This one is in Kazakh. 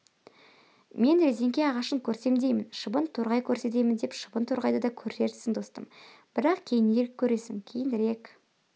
мен резеңке ағашын көрсем деймін шыбын-торғай көрсетемін деп шыбын-торғайды да көрерсің достым бірақ кейінірек көресің кейінірек